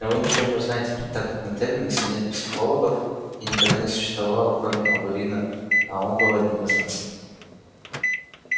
но вы ничего не узнаете так как на терминусе нет психологов и никогда не существовало кроме алурина а он был одним из нас